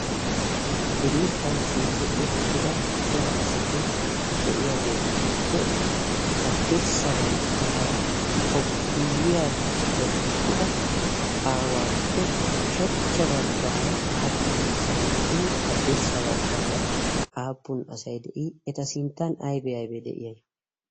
diriiphphan shiiqqi uttida cora asati de'iyaageetuppe haddirssa baggaara koppiyiya wottida aawaappe ushachcha baggaara aappun asai de'ii haddirssa baggaara aappun asai de'ii eta sinttan aibe aibee de'iya